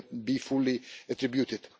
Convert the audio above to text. be fully attributed.